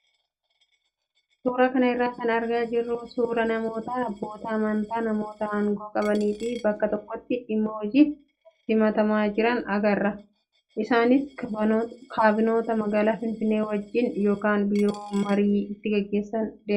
Suuraa kana irraa kan argaa jirru suuraa namoota abboota amantaa namoota aangoo qabanii fi bakka tokkotti dhimma hojiif simatamaa jiran agarra. Isaanis kaabinota magaalaa Finfinnee waajjira yookaan biiroo marii itti gaggeessan deemaniiru.